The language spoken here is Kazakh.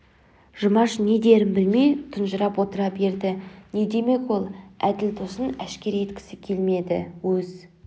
жұмаш не дерін білмей тұнжырап отыра берді не демек ол әділ досын әшкере еткісі келмеді өз